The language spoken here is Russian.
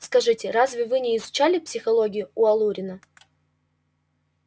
скажите разве вы не изучали психологию у алурина